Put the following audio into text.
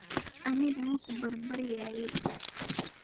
Aniga makubarbaryayi.